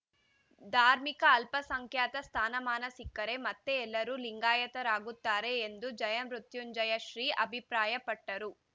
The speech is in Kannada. ಧಾರ್ಮಿಕ ಅಲ್ಪಸಂಖ್ಯಾತ ಸ್ಥಾನಮಾನ ಸಿಕ್ಕರೆ ಮತ್ತೆ ಎಲ್ಲರೂ ಲಿಂಗಾಯತರಾಗುತ್ತಾರೆ ಎಂದು ಜಯಮೃತ್ಯುಂಜಯ ಶ್ರೀ ಅಭಿಪ್ರಾಯಪಟ್ಟರು